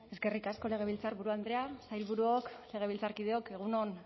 eskerrik asko legebiltzarburu andrea sailburuok legebiltzarkideok egun on